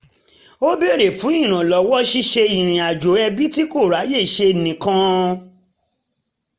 ó béèrè fún ìrànlọ́wọ́ ṣíṣe ìrìnàjò ẹbí tí kò ráyè ṣe nìkan